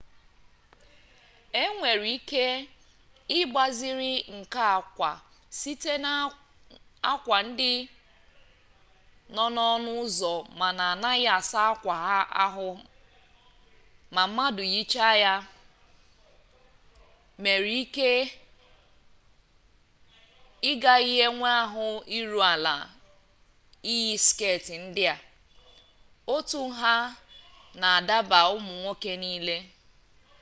e nwere ike ịgbaziri nke a kwa site n'akwa ndị nọ n'ọnụ ụzọ mana anaghị asa akwa ahụ ma mmadụ yichaa ya mere ị nwere ike ị gaghị enwe ahụ iru ala iyi sket ndị a otu nha na-adaba ụmụ nwoke niile